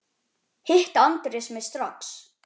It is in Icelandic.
Hitti Andrés mig strax.